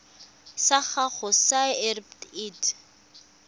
sa gago sa irp it